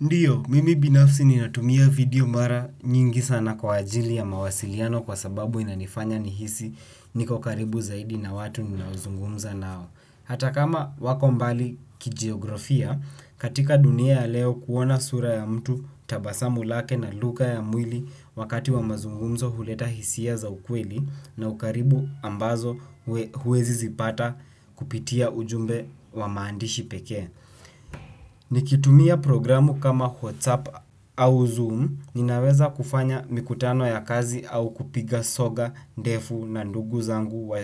Ndiyo, mimi binafsi ninatumia video mara nyingi sana kwa ajili ya mawasiliano kwa sababu inanifanya nihisi niko karibu zaidi na watu ninaozungumza nao. Hata kama wako mbali kijiografia, katika dunia ya leo kuona sura ya mtu tabasamu lake na lugha ya mwili wakati wa mazungumzo huleta hisia za ukweli na ukaribu ambazo huwezi zipata kupitia ujumbe wa maandishi pekee. Nikitumia programu kama Whatsapp au zoom ninaweza kufanya mikutano ya kazi au kupiga soga ndefu na ndugu zangu